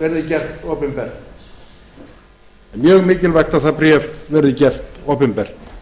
verði gert opinbert það er mjög mikilvægt að það bréf verði gert opinbert